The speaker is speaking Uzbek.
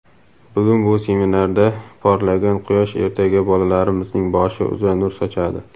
"Bugun bu seminarda porlagan quyosh ertaga bolalarimizning boshi uzra nur sochadi."